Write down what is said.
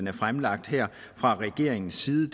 er fremlagt her fra regeringens side